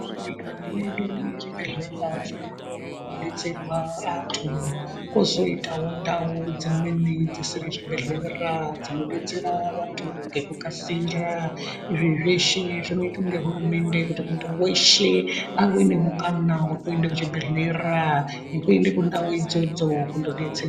Munyika mwedu munezvibhehlera zvikuru kunodetsera vantu ,kozoitawo ndau dzimweni dzisiri zvibhehlera dzinodetsera vantu ngekukasira . Izvi zveshe zvinoitwa ngehurumende kuti muntu weshe awenemukana wekuende kuchibhehlera nekuende kundau idzodzo kundodetserwa.